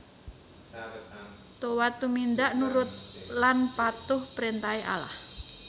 Toat tumindak nurut laan patuh prentahe Allah